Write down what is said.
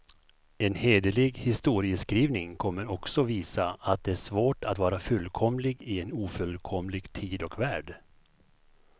En hederlig historieskrivning kommer också visa, att det är svårt att vara fullkomlig i en ofullkomlig tid och värld.